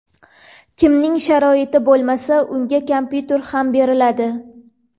Kimning sharoiti bo‘lmasa, unga kompyuter ham beriladi.